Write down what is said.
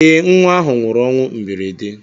Eé, nnwa ahụ nwụrụ ọnwụ mberede.